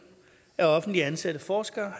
at offentligt ansatte forskere